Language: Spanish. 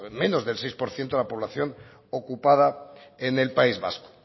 menos del seis por ciento de la población ocupada en el país vasco